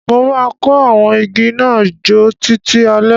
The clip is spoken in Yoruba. Mo má kó àwon igi náà jo títí alẹ́